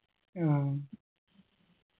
ആ